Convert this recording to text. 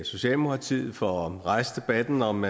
socialdemokratiet for at rejse debatten om